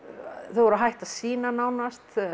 þau voru hætt að sýna nánast